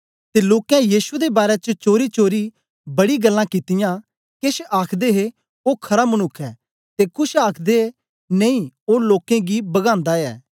ते लोकें यीशु दे बारै च चोरीचोरी बड़ीयां गल्लां ओईयां केछ आखदे हे ओ खरा मनुक्ख ऐ ते कुछ आखदे नेई ओ लोकें गी बगांदा ऐ